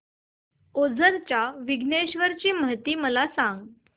ओझर च्या विघ्नेश्वर ची महती मला सांग